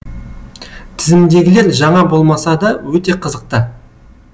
тізімдегілер жаңа болмаса да өте қызықты